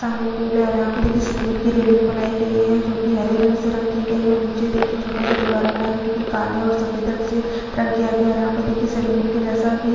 सामने पूल है और यहाँ पे देखिये सीरमिट की रेलिंग बनाई गयी है जो की हरे रंग से रंग की गयी है और निचे देखिये छोटा सा दिवार बनाया गया है जो की काले और सफ़ेद रंग से रंग किया गया यहाँ पर देखिये सिरमिट के जैसा भी --